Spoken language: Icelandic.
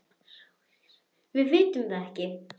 SOPHUS: Við vitum það ekki.